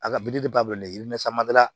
A ka bilifa bolo yiri san mada